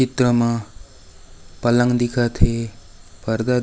इधर मा पलंग दिखत है पर्दा --